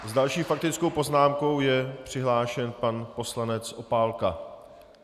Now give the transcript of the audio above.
S další faktickou poznámkou je přihlášen pan poslanec Opálka.